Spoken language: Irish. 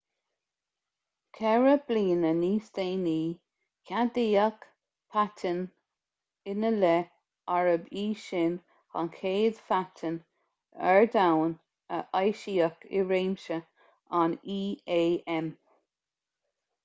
ceithre bliana níos déanaí ceadaíodh paitinn ina leith arb í sin an chéad phaitinn ar domhan a eisíodh i réimse an íam